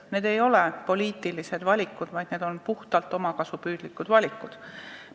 Need ei ole poliitilised valikud, vaid puhtalt omakasupüüdlikud valikud.